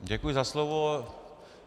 Děkuji za slovo.